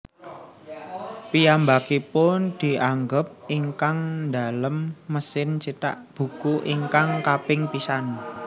Piyambakipun dianggep ingkang ndamel mesin cithak buku ingkang kaping pisan